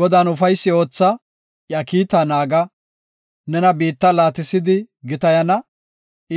Godan ufaysi ootha, iya kiitaa naaga; nena biitta laatisidi gitayana;